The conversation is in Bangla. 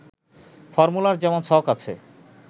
ফর্মুলার যেমন ছক আছে